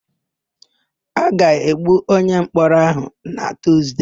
A ga-egbu onyemkpọrọ áhụ̀ na Tuzde.